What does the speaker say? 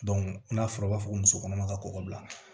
n'a fɔra o b'a fɔ ko muso kɔnɔma ka kɔgɔ bila